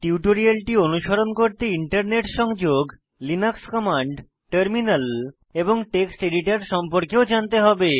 টিউটোরিয়ালটি অনুসরণ করতে ইন্টারনেট সংযোগ লিনাক্স কমান্ড টার্মিনাল এবং টেক্সট এডিটর সম্পর্কেও জানতে হবে